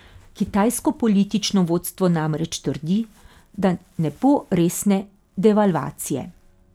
Kitajsko politično vodstvo namreč trdi, da ne bo resne devalvacije.